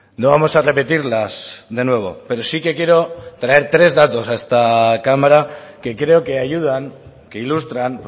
no vamos a repetirlas de nuevo pero sí que quiero traer tres datos a esta cámara que creo que ayudan que ilustran